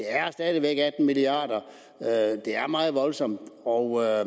er stadigvæk atten milliard kr det er meget voldsomt og jeg